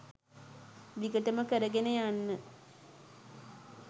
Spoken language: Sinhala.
දිගටම කරගෙන යන්න.